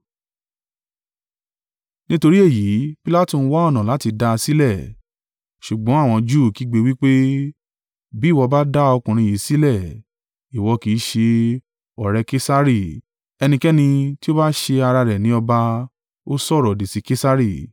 Nítorí èyí, Pilatu ń wá ọ̀nà láti dá a sílẹ̀, ṣùgbọ́n àwọn Júù kígbe, wí pé, “Bí ìwọ bá dá ọkùnrin yìí sílẹ̀, ìwọ kì í ṣe ọ̀rẹ́ Kesari: ẹnikẹ́ni tí ó bá ṣe ara rẹ̀ ní ọba, ó sọ̀rọ̀-òdì sí Kesari.”